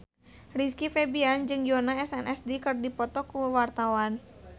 Rizky Febian jeung Yoona SNSD keur dipoto ku wartawan